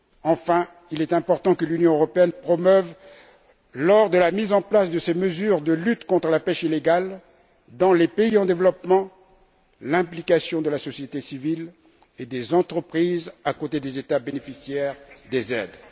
Enfin, il est important que l'Union européenne promeuve, lors de la mise en place de ces mesures de lutte contre la pêche illégale dans les pays en développement, l'implication de la société civile et des entreprises à côté des États bénéficiaires des aides.